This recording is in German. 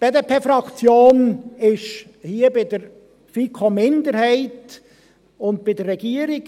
Die BDP-Fraktion ist hier bei der FiKo-Minderheit und bei der Regierung.